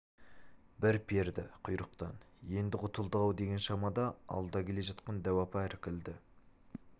бір перді құйрықтан енді құтылдық-ау деген шамада алда келе жатқан дәу апа іркілді